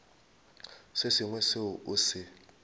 se sengwe seo o se